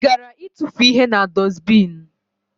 I gara itufu ihe na dusbini?